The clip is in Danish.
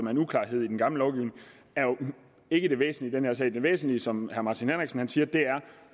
er en uklarhed i den gamle lovgivning er jo ikke det væsentlige her sag den væsentlige som herre martin henriksen siger